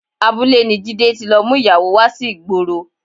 Abúlé ni Jídé ti lọ mú ìyàwó wá sí ìgboro